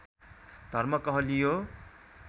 धर्म कहलियो